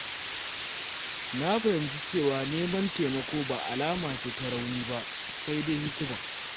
Na fahimci cewa neman taimako ba alama ce ta rauni ba, sai dai hikima.